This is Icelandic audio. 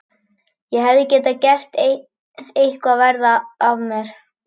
Ég hefði getað gert eitthvað verra af mér.